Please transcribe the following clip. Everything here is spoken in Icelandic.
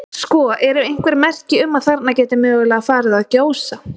Sko, eru einhver merki um að þarna geti mögulega farið að gjósa?